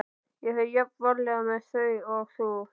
Ég fer jafn varlega með þau og þú.